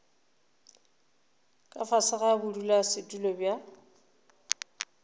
ka fase ga bodulasetulo bja